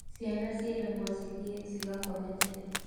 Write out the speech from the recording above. Ciana cieragwo cithiĩ cigakome tene